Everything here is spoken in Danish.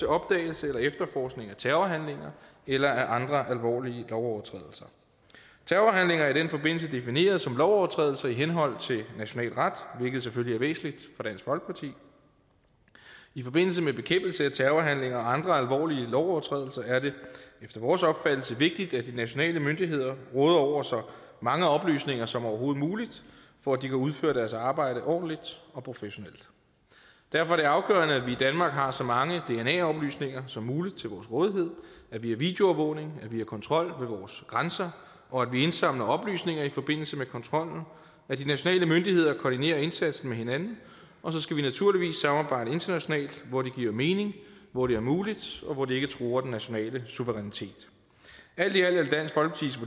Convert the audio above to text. opdagelse eller efterforskning af terrorhandlinger eller af andre alvorlige lovovertrædelser terrorhandlinger er i den forbindelse defineret som lovovertrædelser i henhold til national ret hvilket selvfølgelig er væsentligt for dansk folkeparti i forbindelse med bekæmpelse af terrorhandlinger og andre alvorlige lovovertrædelser er det efter vores opfattelse vigtigt at de nationale myndigheder råder over så mange oplysninger som overhovedet muligt for at de kan udføre deres arbejde ordentligt og professionelt derfor er det afgørende at vi i danmark har så mange dna oplysninger som muligt til vores rådighed at vi har videoovervågning at vi har kontrol ved vores grænser og at vi indsamler oplysninger i forbindelse med kontrollen at de nationale myndigheder koordinerer indsatsen med hinanden og så skal vi naturligvis samarbejde internationalt hvor det giver mening hvor det er muligt og hvor det ikke truer den nationale suverænitet alt i alt er